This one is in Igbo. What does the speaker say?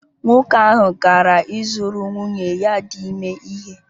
Nwoke ahụ gara ịzụrụ nwunye ya dị ime ihe